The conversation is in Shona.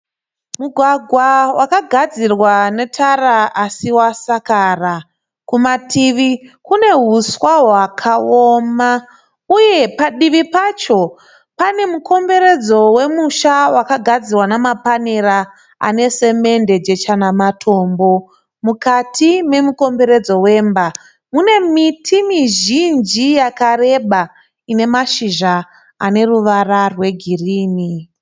Mugwagwa wakagadzirwa netara asi wasakara. Kumativi kune huswa hwakaoma uye padivi pacho pane mukomberedzo wemusha wakagadzirwa nemapanera ane semede, jecha nematombo. Mukati memukomberedzo wemba mune miti mizhinji yakareba ine mashizha ane ruvara rwegirinhi.